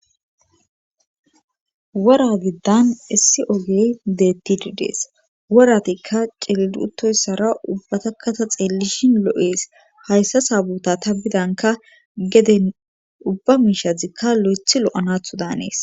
wora giddan issi ogey deettididees woratikka ceidutoyssara ubbatakata xeellishin lo7ees hayssa saabuta ta bidanka geden ubba miishadzikka lo7eth lo7anathu daanees